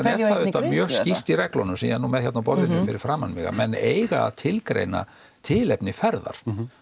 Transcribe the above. er það nú mjög skýrt í reglunum sem ég með hérna á borðinu fyrir framan mig að menn eiga að tilgreina tilefni ferðar